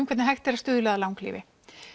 hvernig hægt er að stuðla að langlífi